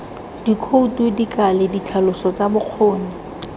dikhoutu dikale ditlhaloso tsa bokgoni